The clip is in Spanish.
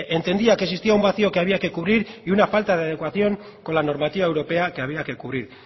entendía que existía un vacio que había que cubrir y una falta de adecuación con la normativa europea que había que cubrir